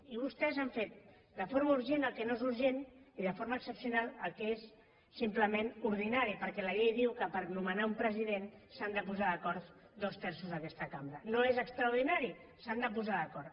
i vostès han fet de forma urgent el que no és urgent i de forma excepcional el que és simplement ordinari perquè la llei diu que per nomenar un president s’han de posar d’acord dos terços d’aquesta cambra no és extraordinari s’han de posar d’acord